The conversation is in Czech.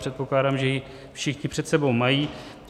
Předpokládám, že ji všichni před sebou mají.